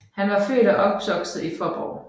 Han var født og opvokset i Fåborg